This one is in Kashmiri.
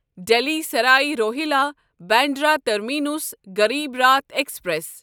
Delhi Sarai Rohilla Bandra terminus Garib Rath express